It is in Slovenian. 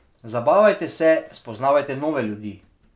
Zabavajte se, spoznavajte nove ljudi.